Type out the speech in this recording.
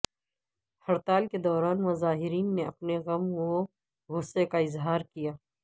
ہڑتال کے دوران مظاہرین نے اپنے غم و غصے کا اظہار کیا